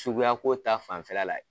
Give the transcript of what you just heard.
Suguyako ta fanfɛla la.